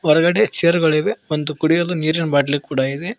ಹೊರಗಡೆ ಚೇರ್ ಗಳಿವೆ ಒಂದು ಕುಡಿಯಲು ನೀರಿನ ಬಾಟ್ಲಿ ಕೂಡ ಇದೆ.